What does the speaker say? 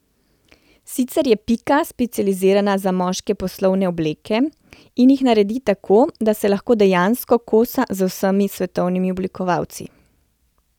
Sicer je Pika specializirana za moške poslovne obleke, ki jih naredi tako, da se lahko dejansko kosa z vsemi svetovnimi oblikovalci.